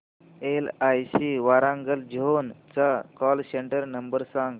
LIC Warangal zone चा call centre number सांग